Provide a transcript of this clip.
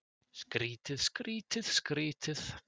Skrýtið, skrýtið, skrýtið.